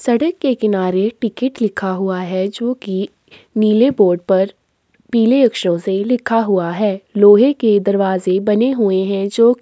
सड़क के किनारे टिकट लिखा हुआ है जो की नीले बोर्ड पर पीले अक्षरों से लिखा हुआ है। लोहे के दरवाजे बने हुये हैं जो --